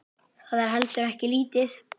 Það er heldur ekki lítið.